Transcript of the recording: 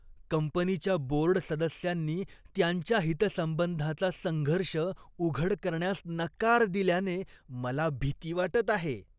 कंपनीच्या बोर्ड सदस्यांनी त्यांच्या हितसंबंधांचा संघर्ष उघड करण्यास नकार दिल्याने मला भीती वाटत आहे.